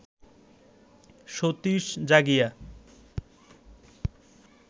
Satish Jagia